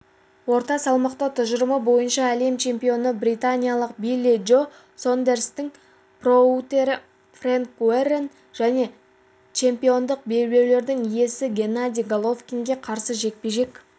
орта салмақта тұжырымы бойынша әлем чемпионы британиялық билли джо сондерстің промоутері фрэнк уоррен және чемпиондық белбеулерінің иесі геннадий головкинге қарсы жекпе-жек